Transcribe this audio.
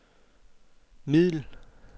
middel